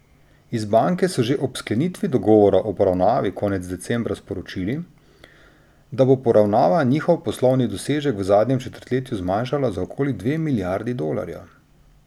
Iz banke so že ob sklenitvi dogovora o poravnavi konec decembra sporočili, da bo poravnava njihov poslovni dosežek v zadnjem četrtletju zmanjšala za okoli dve milijardi dolarjev.